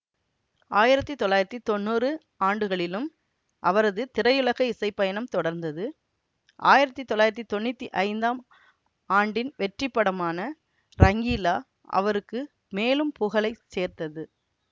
ஆயிரத்தி தொள்ளாயிரத்தி தொன்னூறு ஆண்டுகளிலும் அவரது திரையுலக இசைப்பயணம் தொடர்ந்தது ஆயிரத்தி தொள்ளாயிரத்தி தொன்னூத்தி ஐந்தாம் ஆண்டின் வெற்றிப்படமான ரங்கீலா அவருக்கு மேலும் புகழை சேர்த்தது